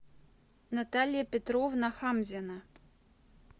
наталья петровна хамзина